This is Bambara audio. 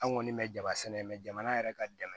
An kɔni bɛ jaba sɛnɛ jamana yɛrɛ ka dɛmɛ